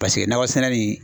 Paseke nakɔ sɛnɛ nin